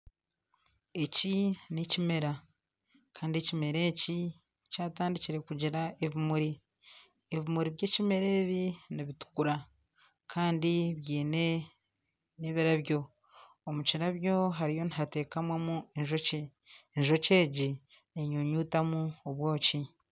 Eki nekimera, Kandi ekimera eki kyatandikire kugira ebimuri , ebimuri by'ekimera ebi nibitukura Kandi byine n'ebirabyo. Omu kirabyo hariyo nihatekamamu enjoki. Enjoki egi nenyunyutamu obwoki.